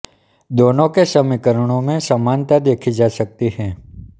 दोनों के समीकरणों में समानता देखी जा सकती है